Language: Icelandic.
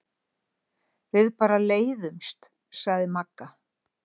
Við bara leiðumst, sagði Magga.